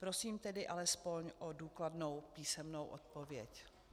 Prosím tedy alespoň o důkladnou písemnou odpověď.